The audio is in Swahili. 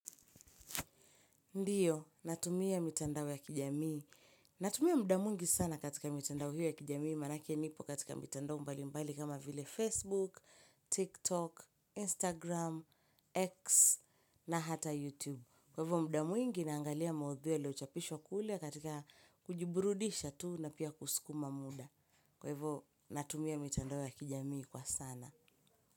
Ndio, natumia mitandao ya kijamii. Natumia muda mwingi sana katika mitandao hiyo ya kijamii. Manake nipo katika mitandao mbalimbali kama vile Facebook, TikTok, Instagram, X na hata YouTube. Kwa hivyo, muda mwingi naangalia maudhui yaliyochapishwa kule katika kujiburudisha tu na pia kusukuma muda. Kwa hivyo, natumia mitandao ya kijamii kwa sana.